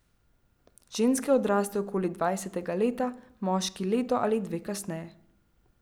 Ženske odrastejo okoli dvajsetega leta, moški leto ali dve kasneje.